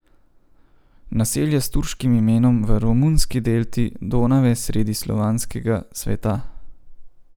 Naselje s turškim imenom v romunski delti Donave sredi slovanskega sveta.